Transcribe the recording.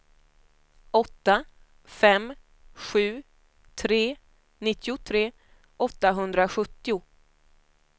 åtta fem sju tre nittiotre åttahundrasjuttio